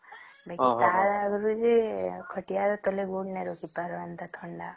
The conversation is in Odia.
ପହିଲେ ବୋଲେ କେ ଖଟିଆ ତଳେ ଗୋଡ଼ ନାଇଁ ରଖି ପରିମୁ ଏମିତିଆ ଥଣ୍ଡା